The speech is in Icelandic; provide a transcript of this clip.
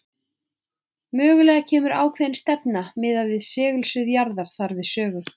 Mögulega kemur ákveðin stefna miðað við segulsvið jarðar þar við sögu.